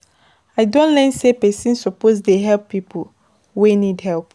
I don learn sey pesin suppose dey help pipo wey need help.